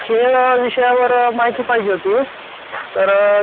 नोकरी विषयी काय माहिती पाहिजे तुम्हाला